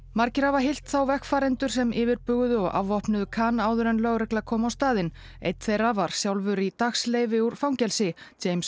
margir hafa hyllt þá vegfarendur sem yfirbuguðu og afvopnuðu Khan áður en lögregla kom á staðinn einn þeirra var sjálfur í úr fangelsi